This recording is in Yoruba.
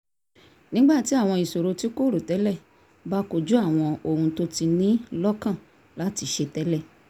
nígbà tí àwọn ìṣòro tí kò rò tẹ́lẹ̀ bá kojú àwọn ohun tó tó ní lọ́kàn láti ṣe tẹ́lẹ̀